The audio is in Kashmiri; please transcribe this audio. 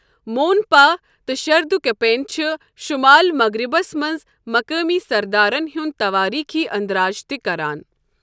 مونپا تہٕ شردكپین چِھ شمال مَغرِبَس مَنٛز مُقٲمی سردارن ہنٛد تواریخی اندراج تہِ كران ۔